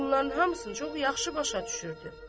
Bunların hamısını çox yaxşı başa düşürdü.